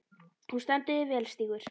Þú stendur þig vel, Stígur!